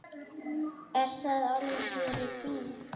Er það alveg fyrir bí?